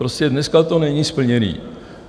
Prostě dneska to není splněno.